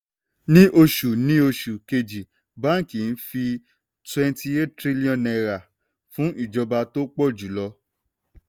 ní oṣù ní oṣù kejì báńkì fi twenty eight trillion náírà fún ìjọba tó pọ̀ jù lọ.